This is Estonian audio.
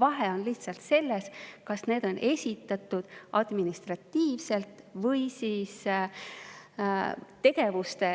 Vahe on lihtsalt selles, kas kulud ja tulud on esitatud administratiivselt või tegevuste